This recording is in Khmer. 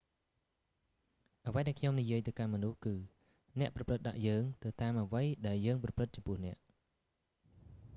អ្វីដែលខ្ញុំនិយាយទៅកាន់មនុស្សគឺ អ្នកប្រព្រឹត្តដាក់យើង ទៅតាមអ្វីដែលយើងប្រព្រឹត្តចំពោះអ្នក